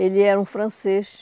Ele era um francês.